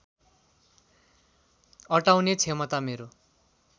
अटाउने क्षमता मेरो